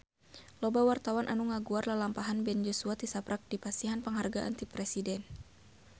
Loba wartawan anu ngaguar lalampahan Ben Joshua tisaprak dipasihan panghargaan ti Presiden